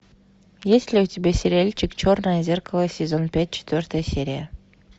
есть ли у тебя сериальчик черное зеркало сезон пять четвертая серия